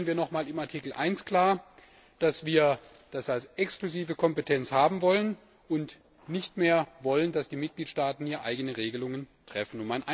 Deshalb stellen wir in Artikel 1 noch mal klar, dass wir das als exklusive Kompetenz haben wollen und nicht mehr wollen, dass die Mitgliedstaaten hier eigene Regelungen treffen.